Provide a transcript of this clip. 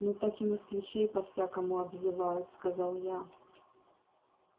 ну так и москвичей по-всякому обзывают сказал я